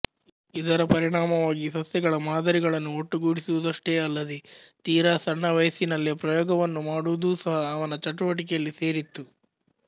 ಇದರ ಪರಿಣಾಮವಾಗಿ ಸಸ್ಯಗಳ ಮಾದರಿಗಳನ್ನು ಒಟ್ಟುಗೂಡಿಸುವುದಷ್ಟೇ ಅಲ್ಲದೇ ತೀರಾ ಸಣ್ಣ ವಯಸ್ಸಿನಲ್ಲೇ ಪ್ರಯೋಗವನ್ನು ಮಾಡುವುದೂ ಸಹ ಅವನ ಚಟುವಟಿಕೆಯಲ್ಲಿ ಸೇರಿತ್ತು